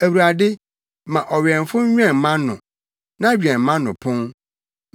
Awurade, ma ɔwɛmfo nwɛn mʼano; na wɛn mʼano pon.